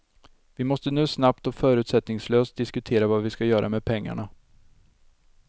Vi måste nu snabbt och förutsättningslöst diskutera vad vi skall göra med pengarna.